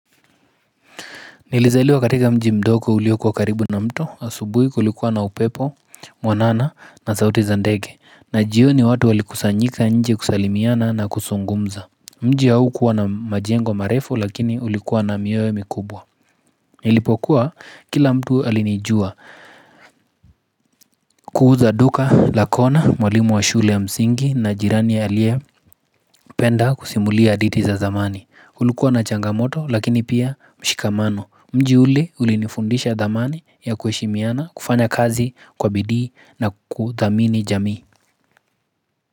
Nilizaliwa katika mji mdogo ulioko karibu na mto, asubui kulikuwa na upepo, mwanana na sauti za ndege, na jioni watu walikusanyika nje kusalimiana na kusungumza. Mji haukuwa na majengo marefu lakini ulikuwa na mioyo mikubwa. Nilipokua kila mtu alinijua kuuza duka la kona mwalimu wa shule ya msingi na jirani aliye penda kusimulia aditi za zamani. Kulikuwa na changamoto lakini pia mshikamano mji ule ulinifundisha thamani ya kuheshimiana kufanya kazi kwa bidii na kudhamini jamii.